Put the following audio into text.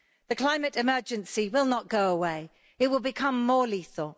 The Climate Emergency will not go away it will become more lethal.